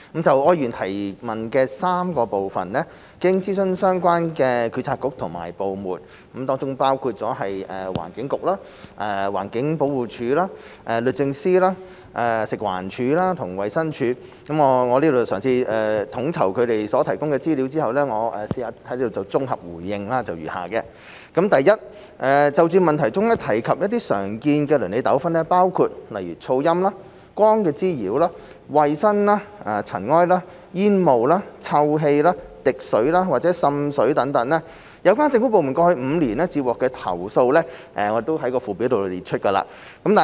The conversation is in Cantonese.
就柯議員提問的3個部分，經諮詢相關政策局和部門，包括環境局和環境保護署、律政司、食物環境衞生署和衞生署，我嘗試統籌他們所提供的資料後，綜合答覆如下：一就問題中提及的常見鄰里糾紛，包括噪音、光滋擾、衞生、塵埃、煙霧或臭氣、滴水和滲水，有關政府部門過去5年接獲的投訴數字已於附表詳列。